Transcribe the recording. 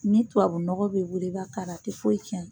Ni tubabu nɔgɔ b'e bolo i b'a k'a la a tɛ foyi cɛn.